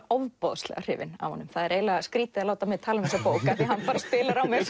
ofboðslega hrifin af honum það er eiginlega skrýtið að láta mig tala um þessa bók því hann spilar á mig